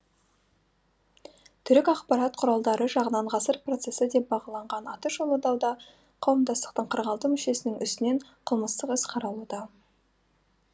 түрік ақпарат құралдары жағынан ғасыр процессі деп бағаланған атышулы дауда қауымдастықтың қырық алты мүшесінің үстінен қылмыстық іс қозғалуда қаралуда